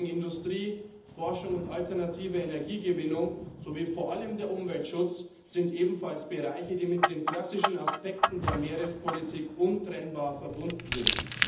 Industrie, Forschung und alternative Energiegewinnung sowie vor allem der Umweltschutz sind ebenfalls Bereiche, die mit den klassischen Aspekten der Meerespolitik untrennbar verbunden sind.